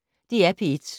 DR P1